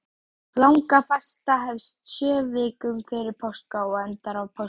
Langafasta hefst sjö vikum fyrir páska og endar á páskadag.